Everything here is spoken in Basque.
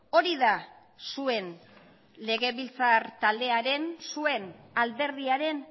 hori da zuen legebiltzar taldearen zuen alderdiaren